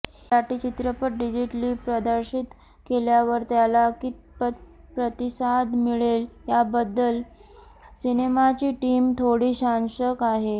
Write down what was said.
मराठी चित्रपट डिजिटली प्रदर्शित केल्यावर त्याला कितपत प्रतिसाद मिळेल याबद्दल सिनेमाची टीम थोडी साशंक आहे